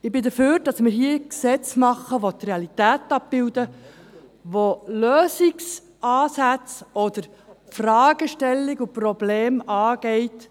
Ich bin dafür, dass wir hier Gesetze machen, die die Realität abbilden, die Lösungsansätze oder Fragestellungen und Probleme angehen.